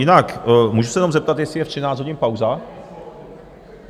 Jinak můžu se jenom zeptat, jestli je ve 13 hodin pauza?